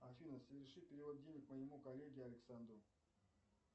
афина соверши перевод денег моему коллеге александру